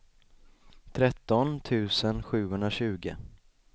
tretton tusen sjuhundratjugo